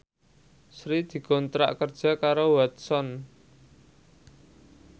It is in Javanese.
Sri dikontrak kerja karo Watson